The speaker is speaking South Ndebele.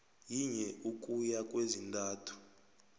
yinye ukuya kwezintathu